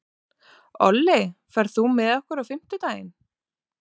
Olli, ferð þú með okkur á fimmtudaginn?